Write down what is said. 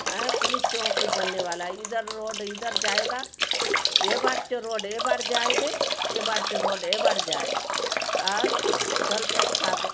यहाँ पुलिस चौकी बनने वाला है इधर रोड इधर जायेगा ए बाट चो रोड ए बाट जायदे ए बाट चो रोड ए बाट जायदे आउर दलपत सागर --